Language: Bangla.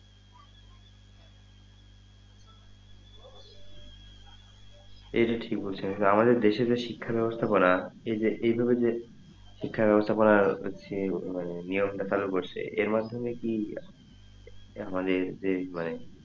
এটা ঠিক বলছেন আমাদের দেশে যে শিক্ষার ব্যবস্থা করা এই যে এইভাবে যে শিক্ষার ব্যবস্থা করা হচ্ছে মানে নিয়ম টা চালু করছে এর মাধ্যমে কি আমাদের মানে যে মানে,